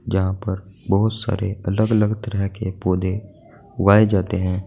जहां पर बहुत सारे अलग अलग तरह के पौधे उगाए जाते हैं।